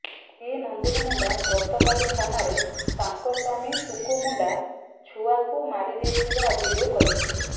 ସ୍ତ୍ରୀ ନନ୍ଦିନୀ ମୁଣ୍ଡା ଗତକାଲି ଥାନାରେ ତାଙ୍କ ସ୍ୱାମୀ ଟୁକୁ ମୁଣ୍ଡା ଛୁଆକୁ ମାରିଦେଇଥିବା ଅଭିଯୋଗ କରିଥିଲେ